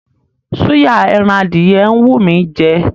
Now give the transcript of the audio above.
Súyà ẹran adìyẹ ń wú mí í jẹ.